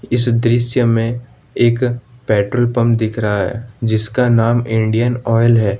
इस दृश्य में एक पेट्रोल पंप दिख रहा है जिसका नाम इंडियन ऑयल है।